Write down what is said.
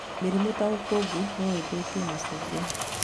Mĩrimũ ta ũkũngũ no ĩthũkie macungwa